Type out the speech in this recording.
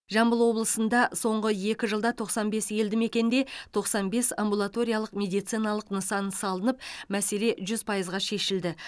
жамбыл облысында соңғы екі жылда тоқсан бес елді мекенде тоқсан бес амбулаториялық медициналық нысан салынып мәселе жүз пайызға шешілді